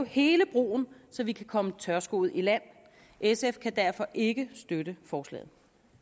hele broen så vi kan komme tørskoet i land sf kan derfor ikke støtte forslaget